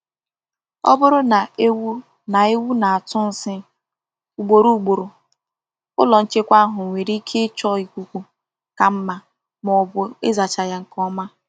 Ọ bụrụ na ewu na ewu na-atụ nsị ugboro ugboro, ụlọ nchekwa ahụ nwere ike ịchọ ikuku ka mma ma ọ bụ ịzacha ya nke ọma.